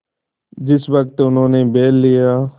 जिस वक्त उन्होंने बैल लिया